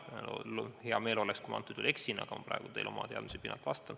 Mul oleks hea meel, kui ma antud juhul eksiksin, aga vastan teile praegu oma olemasolevate teadmiste pinnalt.